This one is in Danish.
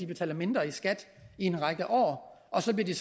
betaler mindre i skat i en række år og så bliver de